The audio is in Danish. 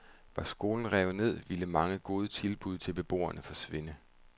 Var skolen revet ned, ville mange gode tilbud til beboerne forsvinde.